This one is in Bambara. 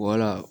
Wala